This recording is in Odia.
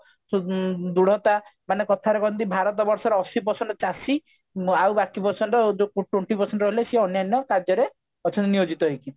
ଉଁ ଦୃଢତା ମାନେ କଥାରେ କହନ୍ତି ଭାରତ ବର୍ଷର ଅଶି percent ଚାଷୀ ଆଉ ବାକି percent ଯୋଉ twenty percent ରହିଲେ ସିଏ ଅନ୍ୟାନ୍ୟ କାର୍ଯ୍ୟରେ ଅଛନ୍ତି ନିୟୋଜିତ ହେଇକି